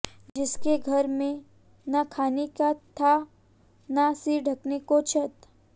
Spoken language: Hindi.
जिसके घर में ना खाने का था ना सिर ढकने को छत